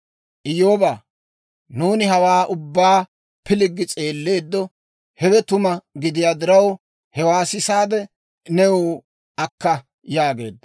Iyyoobaa, nuuni hawaa ubbaa pilggi s'eelleeddo. Hewe tuma gidiyaa diraw, hewaa sisaade, new akka» yaageedda.